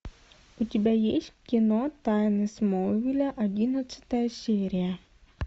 у тебя есть кино тайны смолвиля одиннадцатая серия